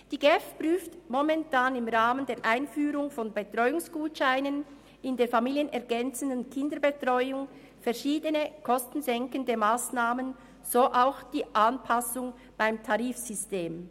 Die GEF prüft momentan im Rahmen der Einführung von Betreuungsgutscheinen in der familienergänzenden Kinderbetreuung verschiedene kostensenkende Massnahmen, so auch Anpassungen beim Tarifsystem.